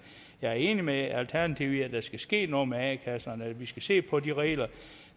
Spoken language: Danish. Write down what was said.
jeg er enig med alternativet i at der skal ske noget med a kasserne og at vi skal se på de regler og